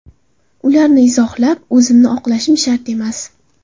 Ularni izohlab, o‘zimni oqlashim shart emas.